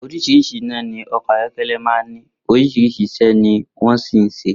Orís̩rís̩i iná ni o̩kò̩ ayó̩ké̩lé̩ máa ń ní, orís̩irís̩i is̩é̩ ni wó̩n sì ń s̩e